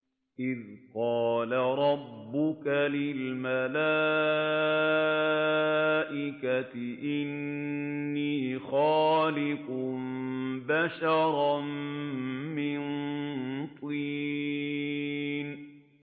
إِذْ قَالَ رَبُّكَ لِلْمَلَائِكَةِ إِنِّي خَالِقٌ بَشَرًا مِّن طِينٍ